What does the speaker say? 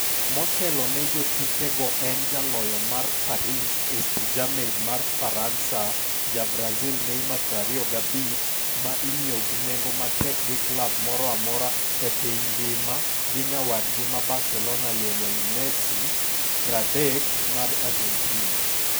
Motelo ne jotukego en jaloyo mar Paris St-Germain mar Faransa, ja brazil Neymar, 25, ma inyiew gi nengo matek gi klab moro amora e piny ngima gi nyawadgi ma Barcelona Lionel Messi, 30, mar Argentina.